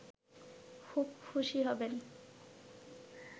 খুব খুশি হবেন